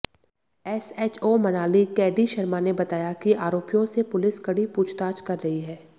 SHO Manali KD Sharma ने बताया कि आरोपियों से पुलिस कड़ी पूछताछ कर रही है